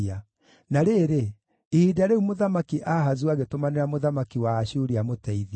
Na rĩrĩ, ihinda rĩu Mũthamaki Ahazu agĩtũmanĩra mũthamaki wa Ashuri amũteithie.